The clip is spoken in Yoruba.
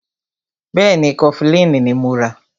Bẹ́ẹ̀ni, Kọfilínì ní mọ rà.